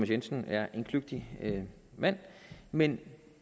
jensen er en kløgtig mand men